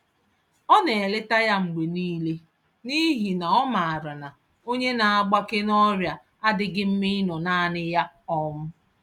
Ọ naeleta ya mgbe nile, n'ihi na ọmaara na, onye naagbake n'ọrịa adịghị mma ịnọ nanị ya um